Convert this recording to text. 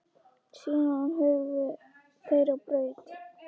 Síðan hurfu þeir á braut.